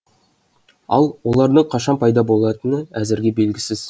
ал олардың қашан пайда болатыны әзірге белгісіз